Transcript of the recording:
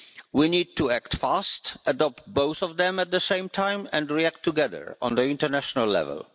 We need to act fast, adopt both of them at the same time, and react together on the international level.